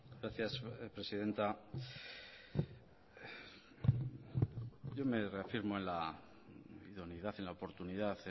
gracias presidenta yo me reafirmo en la idoneidad en la oportunidad